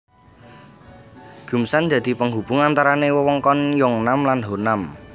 Geumsan dadi penghubung antarane wewengkon Yeongnam lan Honam